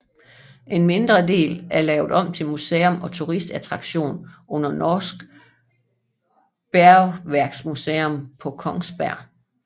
En mindre del er lavet om til museum og turistattraktion under Norsk Bergverksmuseum på Kongsberg